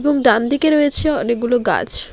এবং ডানদিকে রয়েছে অনেকগুলো গাছ।